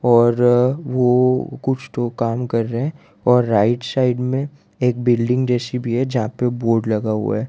और वो कुछ तो काम कर रहे हैं और राइट साइड में एक बिल्डिंग जैसी भी हैं जहां पे बोर्ड लगा हुआ हैं।